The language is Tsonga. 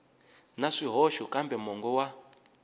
na swihoxo kambe mongo wa